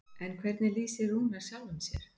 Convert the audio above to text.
En hvernig lýsir Rúnar sjálfum sér?